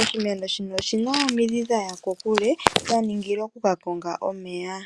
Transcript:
oshimeno shino oshina omidhi dhaya kokule dha ningilwa oku ka konga omeya.